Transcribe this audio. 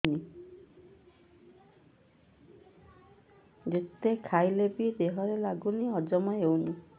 ଯେତେ ଖାଇଲେ ବି ଦେହରେ ଲାଗୁନି ହଜମ ହଉନି